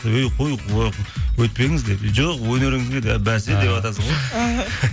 өй қой өйтпеңіз деп жоқ өнеріңізге бәсе деватасың ғой